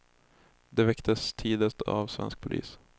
De väcktes tidigt av svensk polis.